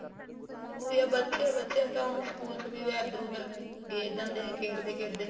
ਉਹੀ ਆ ਬੱਚੇ ਬੱਚੇ ਕਿਉ school ਚ ਵੀ ਇੱਧਰ ਉੱਧਰ ਗੇਰ ਦਿੰਦੇ ਆ ਖੇਡਦੇ ਖੇਡਦੇ